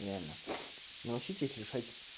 реально научитесь решать